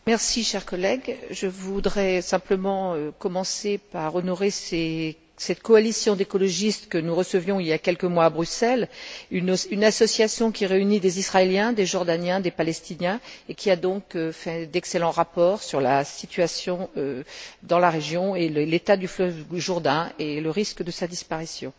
Monsieur le Président, chers collègues, je voudrais simplement commencer par honorer cette coalition d'écologistes que nous recevions il y a quelques mois à Bruxelles, une association qui réunit des Israéliens, des Jordaniens, des Palestiniens et qui a donc fait d'excellents rapports sur la situation dans la région, sur l'état du fleuve Jourdain et sur le risque de sa disparition.